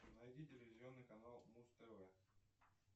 найди телевизионный канал муз тв